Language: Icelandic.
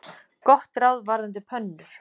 Gott ráð varðandi pönnur.